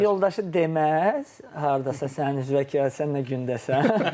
Sinif yoldaşı deməz, hardasa sənin üzvə ki, sən nə gündəsən?